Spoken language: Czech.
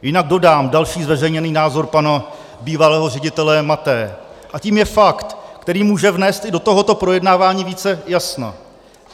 Jinak dodám další zveřejněný názor pana bývalého ředitele Mathé, a tím je fakt, který může vnést i do tohoto projednávání více jasna.